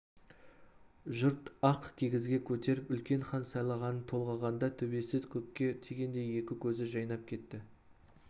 жұрт ақ кигізге көтеріп үлкен хан сайлағанын толғағанда төбесі көкке тигендей екі көзі жайнап кетті